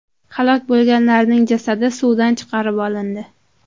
Halok bo‘lganlarning jasadi suvdan chiqarib olindi.